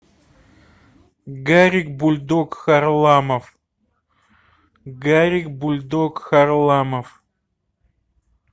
гарик бульдог харламов гарик бульдог харламов